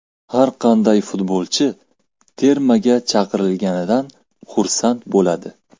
Har qanday futbolchi termaga chaqirilganidan xursand bo‘ladi.